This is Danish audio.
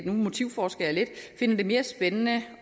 nu motivforsker jeg lidt finder det mere spændende